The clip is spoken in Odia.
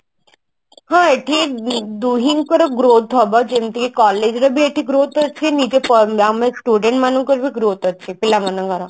ହଁ ଏଠି ଦୁହିଁଙ୍କର growth ହବ ଯେମତି collage ର ବି ଏଠି growth ଅଛି ନିଜ ଆମ student ମାନଙ୍କର ବି growth ଅଛି ପିଲାମାନଙ୍କର